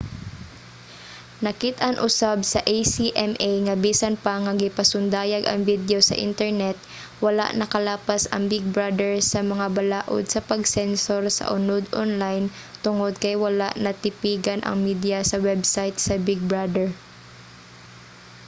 nakit-an usab sa acma nga bisan pa nga gipasundayag ang video sa internet wala nakalapas ang big brother sa mga balaod sa pag-sensor sa unod onlayn tungod kay wala natipigan ang mediya sa website sa big brother